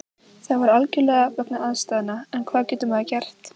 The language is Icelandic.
Það var algjörlega vegna aðstæðna, en hvað getur maður gert?